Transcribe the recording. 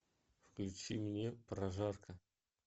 включи мне прожарка